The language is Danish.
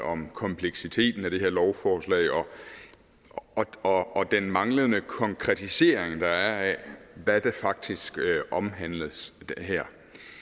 om kompleksiteten af det her lovforslag og den manglende konkretisering der er af hvad der faktisk omhandles her